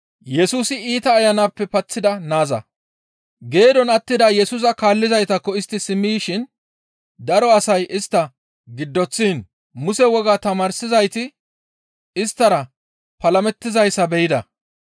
Geedon attida Yesusa kaallizaytakko istti simmi yishin daro asay istta giddoththiin Muse wogaa tamaarsizayti isttara palamettizayssa be7ida.